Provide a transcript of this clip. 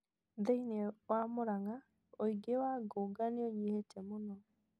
Thĩinĩ wa Muranga, ũingĩ wa ngũnga nĩ ũnyihĩte mũno.